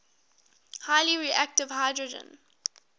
highly reactive hydrogen